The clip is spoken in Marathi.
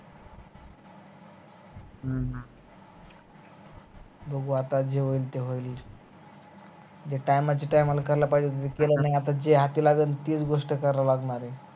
बघू आता जे होईल ते होईल जे time, time ला करायला पाहिजे होत ते केल नाही आता जे हाती लागल तेच गोष्ट करा लागणार आहे